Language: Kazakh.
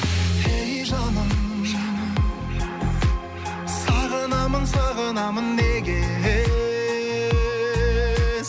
ей жаным сағынамын сағынамын неге